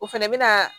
O fɛnɛ bɛ na